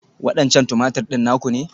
Waɗancan Tumatir ɗin naku ne?